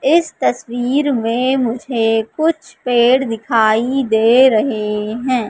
इस तस्वीर में मुझे कुछ पेड़ दिखाई दे रहे हैं।